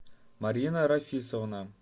марина рафисовна